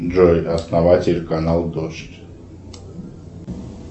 джой основатель канал дождь